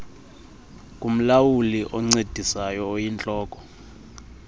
kumlawuli oncedisayo oyintloko